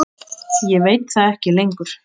Ég veit það ekki lengur.